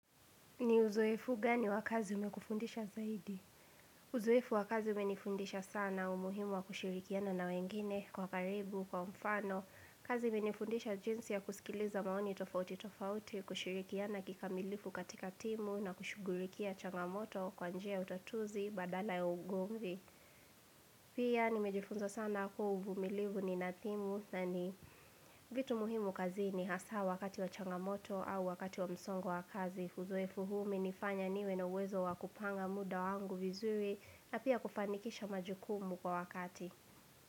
Ni uzoefu gani wa kazi umekufundisha zaidi? Uzoefu wa kazi umenifundisha sana umuhimu wa kushirikiana na wengine kwa karibu, kwa mfano. Kazi imenifundisha jinsi ya kusikiliza maoni tofauti tofauti, kushirikiana kikamilifu katika timu na kushugulikia changamoto kwa njia ya utatuzi badala ya ugomvi. Pia nimejifunza sana kuwa uvumilivu ni nadhimu na ni vitu muhimu kazini hasaa wakati wa changamoto au wakati wa msongo wa kazi. Uzoefu huu umenifanya niwe na uwezo wa kupanga muda wangu vizuri na pia kufanikisha majukumu kwa wakati.